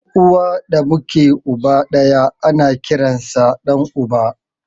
Ɗan uwa da muke uba ɗaya ana kiransa da ɗan uba